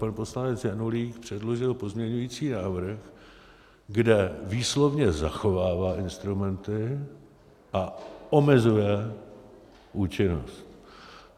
Pan poslanec Janulík předložil pozměňující návrh, kde výslovně zachovává instrumenty a omezuje účinnost.